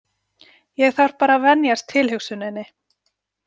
Ég þarf bara að venjast tilhugsuninni.